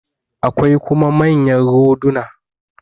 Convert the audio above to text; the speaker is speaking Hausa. Akwai kuma manyan roduna.